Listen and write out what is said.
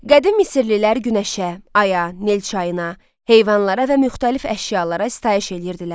Qədim Misirlilər Günəşə, aya, Nil çayına, heyvanlara və müxtəlif əşyalara sitayiş eləyirdilər.